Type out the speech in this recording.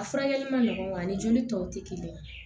A furakɛli man nɔgɔ ani joli tɔw tɛ kelen ye